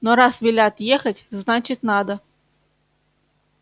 но раз велят ехать значит надо